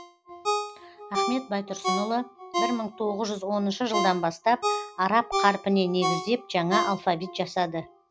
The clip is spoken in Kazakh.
ахмет байтұрсынұлы бір мың тоғыз жүз оныншы жылдан бастап араб қарпіне негіздеп жаңа алфавит жасады